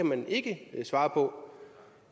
man ikke kan svare på